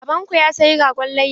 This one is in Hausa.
Baban ku ya saya ragon layya?